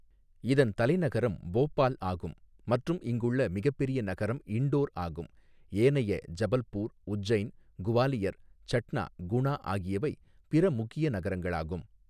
இதன் தலைநகரம் போபால் ஆகும் மற்றும் இங்குள்ள மிகப்பெரிய நகரம் இண்டோர் ஆகும், ஏனைய ஜபல்பூர், உஜ்ஜைன், குவாலியர், சட்னா, குணா ஆகியவை பிற முக்கிய நகரங்களாகும்.